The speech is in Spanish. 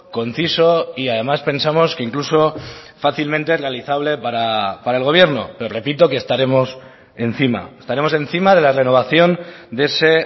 conciso y además pensamos que incluso fácilmente realizable para el gobierno le repito que estaremos encima estaremos encima de la renovación de ese